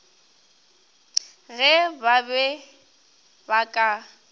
ge ba be ba ka